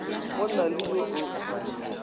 go na le yo o